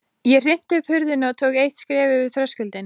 Ég hrinti upp hurðinni og tók eitt skref yfir þröskuldinn.